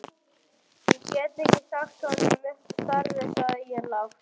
Ég get ekki sagt honum upp starfi sagði ég lágt.